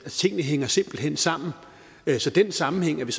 tingene hænger simpelt hen sammen så den sammenhæng er vi